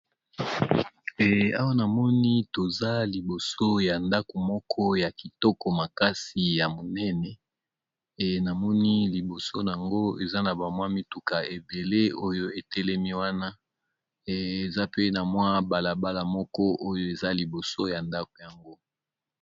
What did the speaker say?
E Awa namoni toza libiso ya ndaku Moko ya Kitoko makasi pembeni mango pe na moni ba mituka